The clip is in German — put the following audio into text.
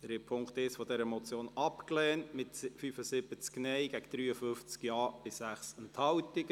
Sie haben den Punkt 1 dieser Motion abgelehnt, mit 53 Ja- gegen 75 Nein-Stimmen bei 6 Enthaltungen.